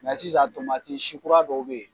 sisan sikura dɔw bɛ yen.